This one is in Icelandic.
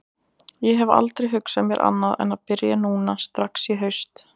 Ég hef aldrei hugsað mér annað en að byrja núna strax í haust.